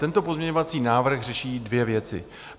Tento pozměňovací návrh řeší dvě věci.